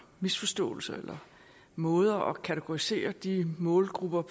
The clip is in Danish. misforståelser eller måder at kategorisere de målgrupper